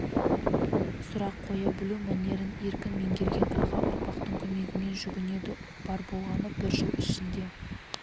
сұрақ қоя білу мәнерін еркін меңгерген аға ұрпақтың көмегіне жүгінеді бар болғаны бір жыл ішінде